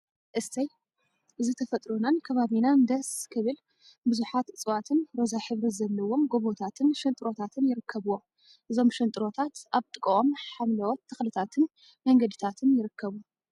እሰይ! እዚ ተፈጥሮናን ከባቢናን ደስስስ… ክብል ቡዙሓት እፅዋትን ሮዛ ሕብሪ ዘለዎም ጎቦታትን ሽንጥሮታትን ይርከቡዎም፡፡ እዞም ሽንጥሮታት አብ ጥቅኦም ሓምለዎት ተክሊታትን መንገዲን ይርከቡ፡፡